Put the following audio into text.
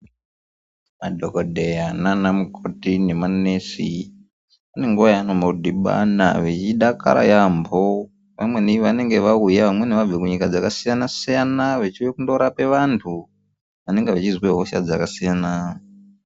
Madhokodheya nanamukoti nemanesi vane nguwa yavanombodhibana veidakara yampho vamweni vanenge vauya vamweni vabve kunyika dzakasiyana siyana vachiuya kundorape vantu vanenge vachizwa hosha dzakasiyana.